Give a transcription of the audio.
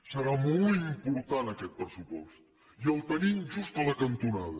serà molt important aquest pressupost i el tenim just a la cantonada